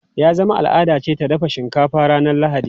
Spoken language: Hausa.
Ya zama al’ada ce ta dafa shinkafa ranar Lahadi.